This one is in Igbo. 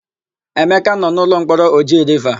Emeka nọ n'ụlọmkpọrọ Oji Riva.